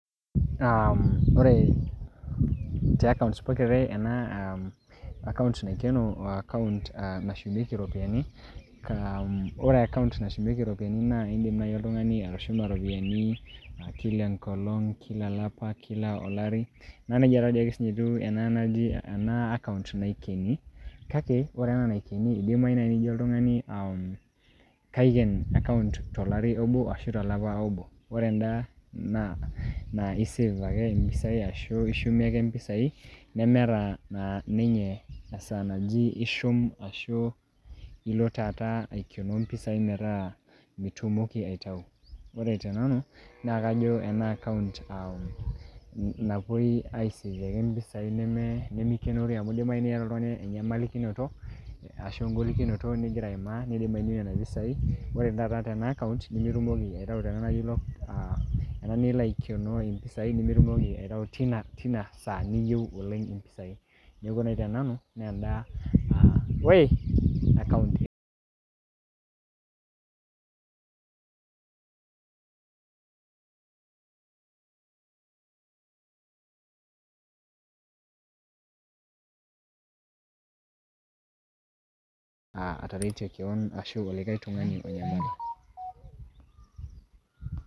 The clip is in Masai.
Kore te akaont pokira are ena akaont naikeno o akaont nashumieki iropiani. Ore akaont nashumieki iropiani naa, kore akaont nashumieki iropiani naa indim naaji oltung'ani atushumaa iropiani kila engolong', kila olapa, kila olari, naa neija naa sininye etu enaa akaont naikeni. Kake ore naa ena naikeni, naa enarre naaaji nijo oltungani kaiken akaont tolari obo ashu tolapa obo. Ore endaa naa ei save ake mpisai anaa ishumie ake impisai nemeeta naa ninye esaa naji ishum ashuu, ilo taata aikenoo mpisai metaa mitumoki aitayu. Ore te nanu, naa ajo ena akaunt napuoi aiseiyie ake mpisai ake nemeikenori amu keidimayu niata oltungani enyamalikinoto, ashu engolikinoto ning'ira aimaa neidimayu nintayu nena pisai. Ore tenaikata ena akaount nimitumoki aitayu tena naji locked, ena nilo aikenoo impisai nimitumoki aitayu teina saa niyou oleng' impisai. Neaku naa kore naa te nanu naa endaa akaont indimataretie kewan anaa likai tungani onyamal